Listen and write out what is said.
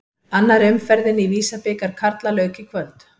Annarri umferðinni í Visa-bikar karla lauk í kvöld.